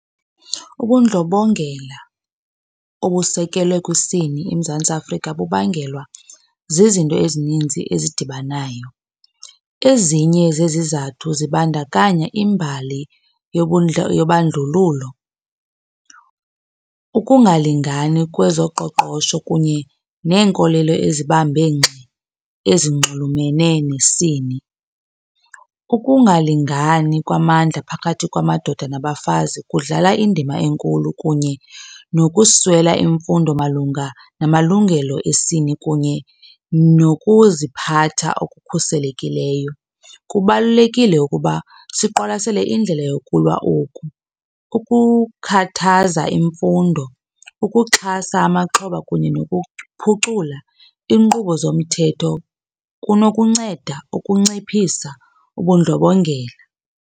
Ubundlobongela obusekelwe kwisini eMzantsi Afrika bubangelwa zizinto ezininzi ezidibanayo. Ezinye zezizathu zibandakanya imbali yobandlululo. Ukungalingani kwezoqoqosho kunye neenkolelo azibambe ngxi ezinxulumene nesini. Ukungalingani kwamandla phakathi kwamadoda nabafazi kudlala indima enkulu kunye nokuswela imfundo malunga namalungelo esini kunye nokuziphatha okukhuselekileyo. Kubalulekile ukuba siqwalasele indlela yokulwa oku. Ukukhathaza imfundo, ukuxhasa amaxhoba kunye nokuphucula iinkqubo zomthetho kunokunceda ukunciphisa ubundlobongela.